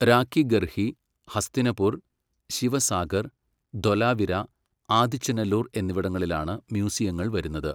രാഖിഗർഹി, ഹസ്തിനപുർ, ശിവസാഗർ, ധൊലാവിര, ആദിച്ചനെല്ലൂർ എന്നിവിടങ്ങളിലാണ് മ്യൂസിയങ്ങൾ വരുന്നത്.